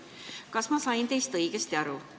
Kas ma sain teist õigesti aru?